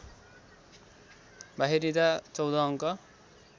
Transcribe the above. बाहिरिँदा १४ अङ्क